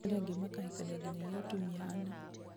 arĩa angĩ makahikia nginyagia atumia ana